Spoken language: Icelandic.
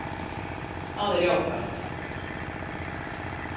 Það er jákvætt